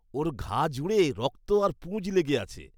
ওর ঘা জুড়ে রক্ত আর পুঁজ লেগে আছে।